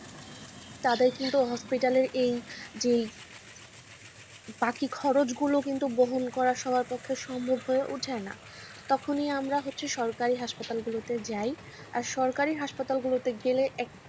তাদের কিন্তু hospital এই যে বাকি খরচ গুলো কিন্তু বহন করা সবার পক্ষে সম্ভব হয়ে ওঠেনা তখনই আমরা হচ্ছে সরকারি hospital গুলোতে যাই আর সরকারি hospital গুলোতে গেলে একটাই,